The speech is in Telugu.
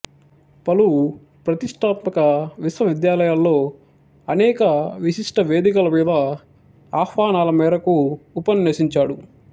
పలు ప్రతిష్ఠాత్మక విశ్వవిద్యాలయాల్లో అనేక విశిష్ట వేదికల మీద ఆహ్వానాల మేరకు ఉపన్యసించాడు